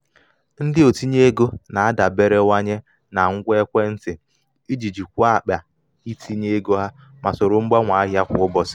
ndị otinye ego na-adaberewanye na ngwa ekwentị iji jikwaa jikwaa akpa itinye ego ha ma soro mgbanwe ahịa kwa ụbọchị.